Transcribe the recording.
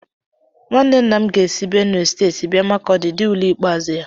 Nwanne nna m ga-esi Benue steeti bịa Makurdi dee ule ikpeazụ ya